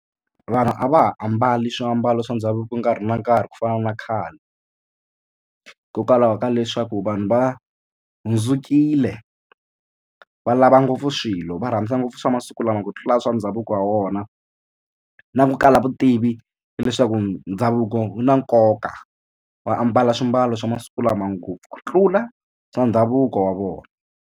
Vanhu a va ha ambali swiambalo swa ndhavuko nkarhi na nkarhi ku fana na khale hikokwalaho ka leswaku vanhu va hundzukile va lava ngopfu swilo va rhandza ngopfu swa masiku lama ku tlula swa ndhavuko wa wona na ku kala vutivi hileswaku ndhavuko wu na nkoka wa ambala swimbalo swa masiku lama ngopfu ku tlula swa ndhavuko wa vona.